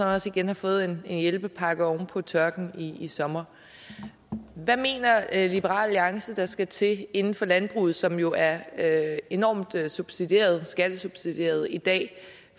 også har fået en hjælpepakke oven på tørken i sommer hvad mener liberal alliance der skal til inden for landbruget som jo er er enormt skattesubsidieret skattesubsidieret i dag